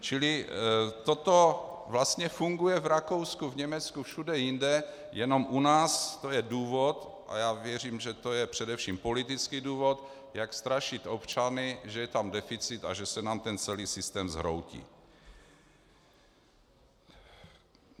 Čili toto vlastně funguje v Rakousku, v Německu, všude jinde, jenom u nás to je důvod, a já věřím, že to je především politický důvod, jak strašit občany, že je tam deficit a že se nám ten celý systém zhroutí.